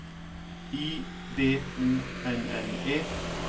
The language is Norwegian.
I V O N N E